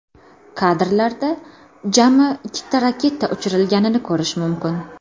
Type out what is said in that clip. Kadrlarda jami ikkita raketa uchirilganini ko‘rish mumkin.